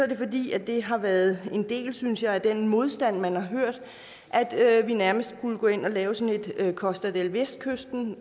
det fordi det har været en del synes jeg af den modstand man har hørt altså at vi nærmest skulle gå ind og lave sådan et costa del vestkysten